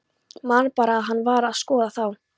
Man bara að hann var að skoða þá.